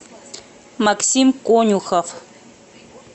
максим конюхов